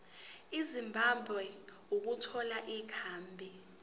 ezimbabwe ukuthola ikhambi